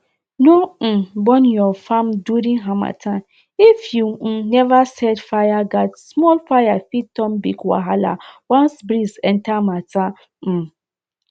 no um burn your farm during harmattan if you um never set fireguardsmall fire fit turn big wahala once breeze enter matter um